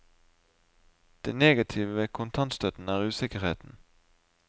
Det negative med kontantstøtten er usikkerheten.